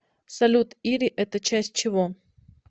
салют ири это часть чего